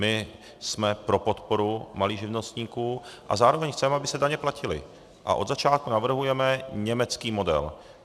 My jsme pro podporu malých živnostníků a zároveň chceme, aby se daně platily, a od začátku navrhujeme německý model.